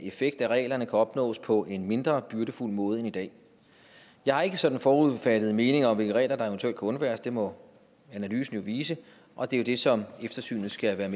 effekt af reglerne kan opnås på en mindre byrdefuld måde end i dag jeg har ikke sådan forudfattede meninger om hvilke regler der eventuelt kan undværes det må analysen jo vise og det er det som eftersynet skal være